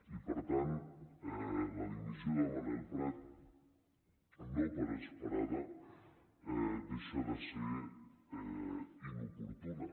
i per tant la dimissió de manel prat no per esperada deixa de ser inoportuna